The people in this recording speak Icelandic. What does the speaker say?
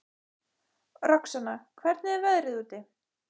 Roxanna, hvernig er veðrið úti?